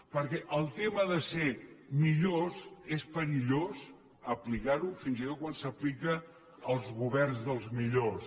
perquè el tema de ser millors és perillós aplicar lo fins i tot quan s’aplica als governs dels millors